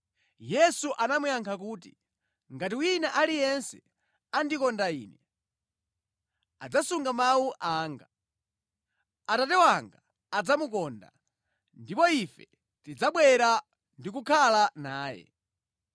Yesu anamuyankha kuti, “Ngati wina aliyense andikonda Ine, adzasunga mawu anga. Atate wanga adzamukonda, ndipo Ife tidzabwera ndi kukhala naye.